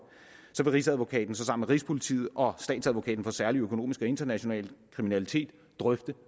vil rigsadvokaten sammen rigspolitiet og statsadvokaten for særlig økonomisk og international kriminalitet drøfte